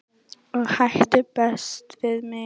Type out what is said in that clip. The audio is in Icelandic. og ætti best við mig